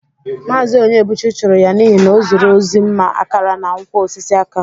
Maazị Onyebụchi chụrụ ya n'ihi na o zuru ozi mma akara, na nkwọ osisi aka.